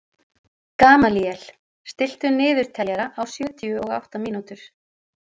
Gamalíel, stilltu niðurteljara á sjötíu og átta mínútur.